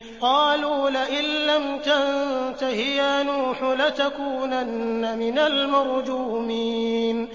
قَالُوا لَئِن لَّمْ تَنتَهِ يَا نُوحُ لَتَكُونَنَّ مِنَ الْمَرْجُومِينَ